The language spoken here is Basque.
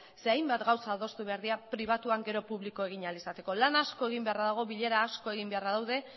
ze hainbat gauza adostu behar dira pribatuan gero publiko egin ahal izateko lan asko egin beharra dago bilera asko egin beharra daude